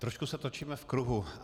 Trošku se točíme v kruhu.